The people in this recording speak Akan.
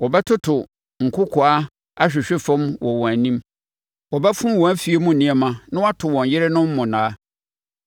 Wɔbɛtoto nkokoaa ahwehwe fam wɔ wɔn anim: wɔbɛfom wɔn afie mu nneɛma na wɔato wɔn yerenom monnaa.